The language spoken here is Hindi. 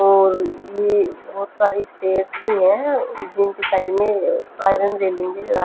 और ये बहुत सारी स्टेयर्स भी है जिनके साइड्स में आयरन रेलिंग लगा --